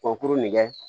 Kurukuru nin kɛ